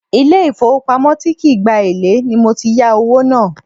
Ile ifowopamo tí kì í gba èlé ni mo ti yà owó náà.